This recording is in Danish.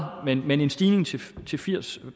men en stigning til til firs